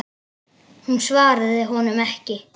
Hún svaraði honum ekki.